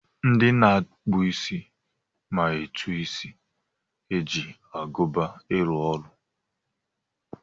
Ndị na-akpụ isi ma etu esi eji agụba arụ ọrụ.